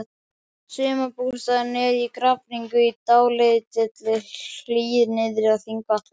Sumarbústaðurinn er í Grafningnum, í dálítilli hlíð niðri við Þingvallavatn.